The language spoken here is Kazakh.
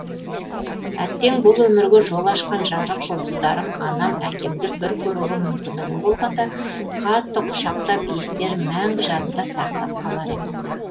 әттең бұл өмірге жол ашқан жарық жұлдыздарым анам әкемді бір көруге мумкіндігім болғанда қатты құшақтап иістерін мәңгі жадымда сақтап қалар ем